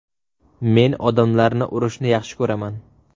Men odamlarni urishni yaxshi ko‘raman.